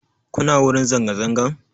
Kuna wurin zanga zangan?